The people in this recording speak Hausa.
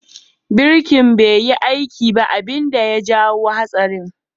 Birki bai yi aiki ba abin da ya jawo hatsarin.